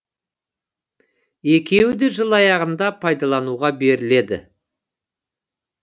екеуі де жыл аяғында пайдалануға беріледі